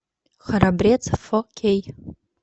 храбрец фо кей